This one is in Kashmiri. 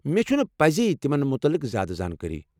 مےٚ چھنہٕ پَزے تِمَن متعلق زیادٕ زانٛکٲری۔